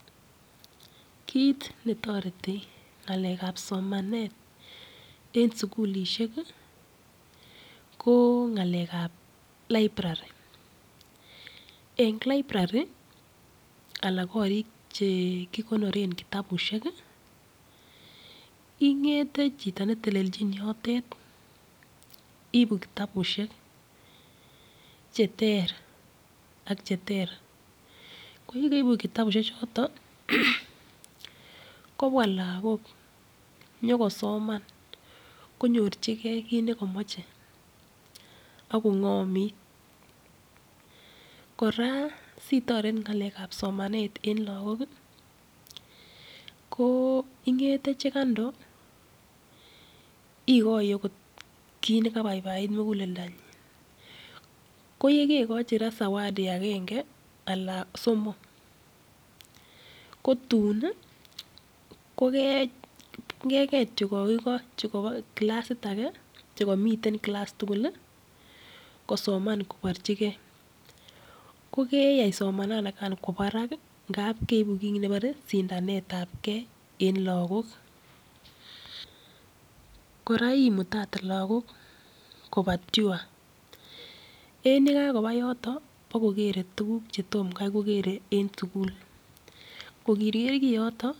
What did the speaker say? Kit netireti ngalekap somanet en sugulisheki ko ngalekap librari en librari anan korik chekikonoren kitabusheki ingete chito netelelchin yotet ibuu kitabushek cheterter ak cheter koyekeibu kitabushe choto kobwa lagok nyokosoman konyorchikee kit nekomoche ak kongomit kora sitoret ngalekap somanet en lagoki ingete chekando ikoi akot kit nekaipaipait muguleldanyin koyekoichi raa sawadi akenge Alan somok kotuni kokenget chukoiko chukomiten kilass tuguli kosoman koborchirkee kokeyai somanikan Kwo Barak ngaap keibu kit nekibore sindanetab Kee en lagok kora imutate lagok kopa tyua en yakakopa yotoni bo kokere tuguk chetom kaikokere en sugul koriker kiyotok